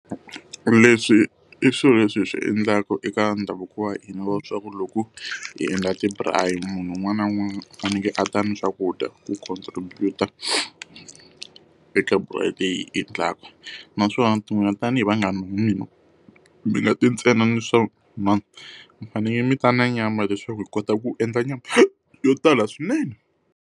Leswi i swilo leswi hi swi endlaku eka ndhavuko wa hina wa leswaku loko hi endla ti-braai munhu un'wana na un'wana u fanekele a ta ni swakudya ku contribute-a eka braai leyi hi yi endlaka. Naswona ti tanihi vanghani va mina, mi nga ti ntsena ni swa mi fanele mi ta na nyama leswaku hi kota ku endla nyama yo tala swinene.